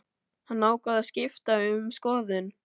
Hann ákvað að skipta um skoðun.